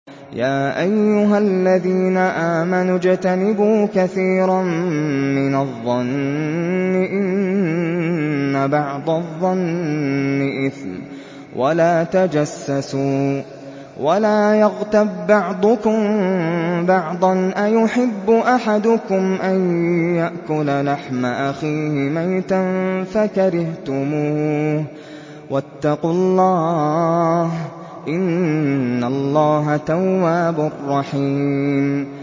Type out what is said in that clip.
يَا أَيُّهَا الَّذِينَ آمَنُوا اجْتَنِبُوا كَثِيرًا مِّنَ الظَّنِّ إِنَّ بَعْضَ الظَّنِّ إِثْمٌ ۖ وَلَا تَجَسَّسُوا وَلَا يَغْتَب بَّعْضُكُم بَعْضًا ۚ أَيُحِبُّ أَحَدُكُمْ أَن يَأْكُلَ لَحْمَ أَخِيهِ مَيْتًا فَكَرِهْتُمُوهُ ۚ وَاتَّقُوا اللَّهَ ۚ إِنَّ اللَّهَ تَوَّابٌ رَّحِيمٌ